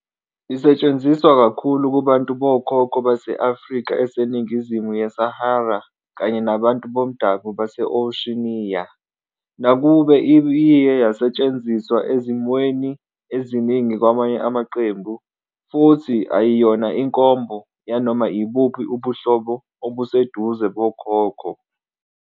Isetshenziswa kakhulu kubantu bokhokho base-Afrika eseningizimu yeSahara kanye nabantu bomdabu base-Oceania, nakuba iye yasetshenziswa ezimweni eziningi kwamanye amaqembu, futhi ayiyona inkomba yanoma ibuphi ubuhlobo obuseduze bokhokho.